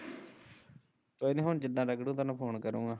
ਕੋਈ ਨਾ ਹੁਣ ਜਿਦਣ ਰਗੜੂ ਤੇਨੂੰ ਫੋਨ ਕਰੁ ਮੈਂ